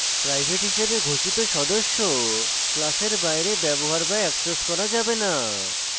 private হিসাবে ঘোষিত সদস্য class বাইরে ব্যবহৃত be অ্যাক্সেস করা যাবে the